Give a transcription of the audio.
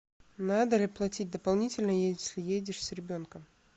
надо ли платить дополнительно если едешь с ребенком